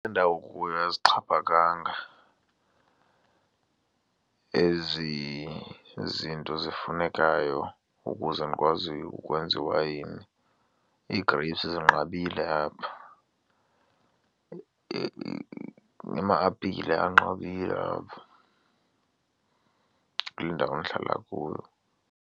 Ndawo ukuyo azixhaphakanga ezi zinto zifunekayo ukuze ndikwazi ukwenza iwayini. Ii-grapes zinqabile apha, nama-apile anqabile apha kule ndawo ndihlala kuyo.